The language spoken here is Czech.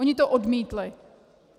Oni to odmítli.